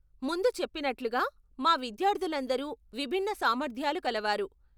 ముందు చెప్పినట్లుగా, మా విద్యార్ధులందరూ విభిన్న సామర్థ్యాలు కలవారు.